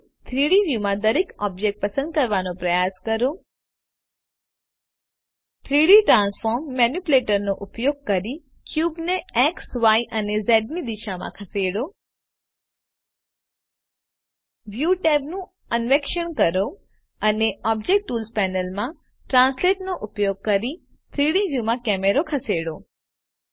હવે 3ડી વ્યુમાં દરેક ઓબ્જેક્ટ પસંદ કરવાનો પ્રયાસ કરો 3ડી ટ્રાન્સફોર્મ મેનીપ્યુલેટરનો ઉપયોગ કરી ક્યુબને એક્સ ય અને ઝ દિશાઓમાં ખસેડો વ્યુ ટેબનું અન્વેષણ કરો અને ઓબ્જેક્ટ ટુલ્સ પેનલમાં ટ્રાન્સલેટ નો ઉપયોગ કરીને 3ડી વ્યુમાં કેમેરો ખસેડો